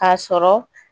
K'a sɔrɔ